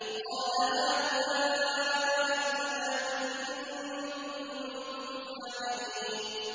قَالَ هَٰؤُلَاءِ بَنَاتِي إِن كُنتُمْ فَاعِلِينَ